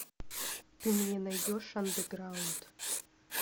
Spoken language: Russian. ты мне найдешь андеграунд